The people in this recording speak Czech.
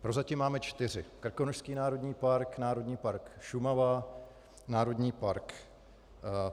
Prozatím máme čtyři: Krkonošský národní park, Národní park Šumava, Národní park